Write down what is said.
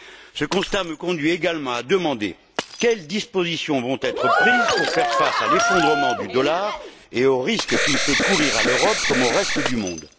Ce constat me conduit également à demander quelles dispositions vont être prises pour faire face à l'effondrement du dollar et au risque qu'il fait courir à l'Europe, comme au reste du monde.